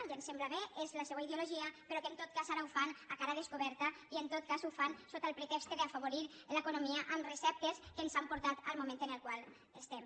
i em sembla bé és la seua ideologia però que en tot cas ara ho fan a cara descoberta i en tot cas ho fan sota el pretext d’afavorir l’economia amb receptes que ens han portat al moment en el qual estem